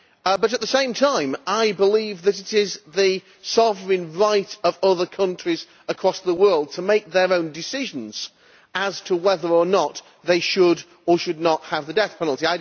But, at the same time, I believe that it is the sovereign right of other countries across the world to make their own decisions as to whether or not they should or should not have the death penalty.